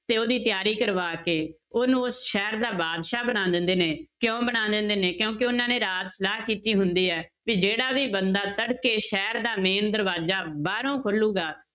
ਤੇ ਉਹਦੀ ਤਿਆਰੀ ਕਰਵਾ ਕੇ ਉਹਨੂੰ ਸ਼ਹਿਰ ਦਾ ਬਾਦਸ਼ਾਹ ਬਣਾ ਦਿੰਦੇ ਨੇ, ਕਿਉਂ ਬਣਾ ਦਿੰਦੇ ਨੇ ਕਿਉਂਕਿ ਉਹਨਾਂ ਨੇ ਰਾਤ ਸਲਾਹ ਕੀਤੀ ਹੁੰਦੀ ਹੈ ਕਿ ਜਿਹੜਾ ਵੀ ਬੰਦਾ ਤੜਕੇ ਸ਼ਹਿਰ ਦਾ main ਦਰਵਾਜ਼ਾ ਬਾਹਰੋਂ ਖੋਲੇਗਾ,